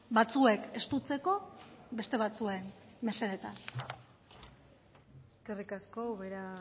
batzuek estutzeko beste batzuen mesedetan eskerrik asko ubera